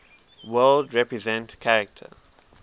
world represent character